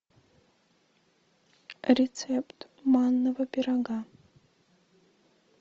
рецепт манного пирога